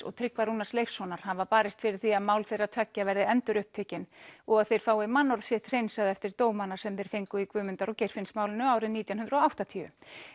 og Tryggva Rúnars Leifssonar hafa barist fyrir því að mál þeirra tveggja verði endurupptekin og að þeir fái mannorð sitt hreinsað eftir dómana sem þeir fengu í Guðmundar og Geirfinnsmálinu árið nítján hundruð og áttatíu